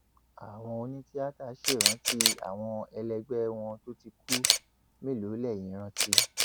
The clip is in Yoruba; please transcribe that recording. àwọn onítìata ṣèrántí àwọn ẹlẹgbẹ wọn tó ti kú mélòó lẹyìn rántí